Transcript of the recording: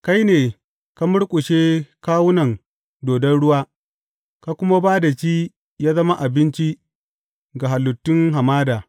Kai ne ka murƙushe kawunan dodon ruwa ka kuma ba da shi yă zama abinci ga halittun hamada.